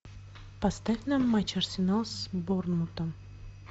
поставь нам матч арсенал с борнмутом